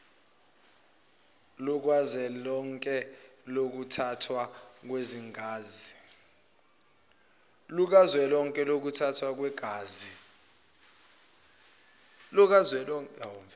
lukazwelonke lokuthathwa kwegazi